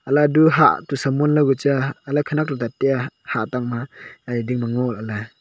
halah du hah samon kucha hahla khanak du dat tai a hah tang ma haye ding ma ngo lahle.